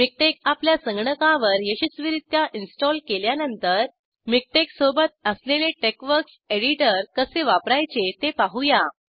MiKTeX आपल्या संगणकावर यशस्वीरीत्या इन्स्टॉल केल्यानंतर मिकटेक्स सोबत असलेले टेक्सवर्क्स एडीटर कसे वापरायचे ते पाहूया